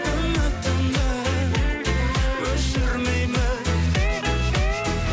үмітімді өшірмеймін